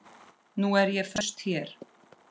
Nú er ég föst hér.